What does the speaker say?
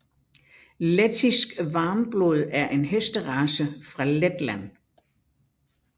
Lettisk Varmblod er en hesterace fra Letland